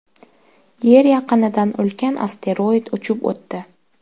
Yer yaqinidan ulkan asteroid uchib o‘tdi .